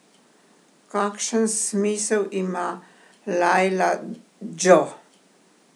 Kakšen smisel ima, Lajla džo?